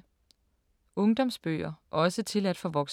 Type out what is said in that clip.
Ungdomsbøger – også tilladt for voksne